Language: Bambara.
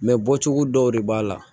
bɔcogo dɔw de b'a la